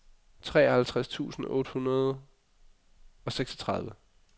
treoghalvtreds tusind otte hundrede og seksogtredive